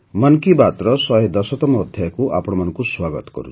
ମନ୍ କି ବାତ୍ର ୧୧୦ତମ ଅଧ୍ୟାୟକୁ ଆପଣମାନଙ୍କୁ ସ୍ୱାଗତ